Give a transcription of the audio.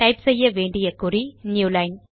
type செய்ய வேண்டிய குறி நியூலைன்